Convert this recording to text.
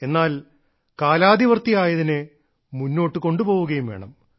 എന്നാൽ കാലാതിവർത്തിയായതിനെ മുന്നോട്ടുകൊണ്ടു പോവുകയും വേണം